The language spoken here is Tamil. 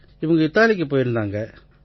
இவங்க இத்தாலிக்குப் போயிருந்தாங்க